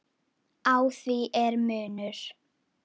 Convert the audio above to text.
Á því er munur.